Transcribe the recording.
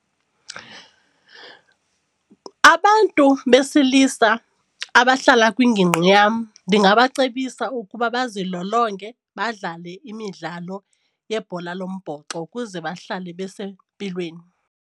Abantu besilisa abahlala kwingingqi yam ndingabacebisa ukuba bazilolonge, badlale imidlalo yebhola lombhoxo ukuze bahlale besempilweni.